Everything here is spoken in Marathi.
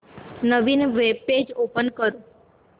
नवीन वेब पेज ओपन कर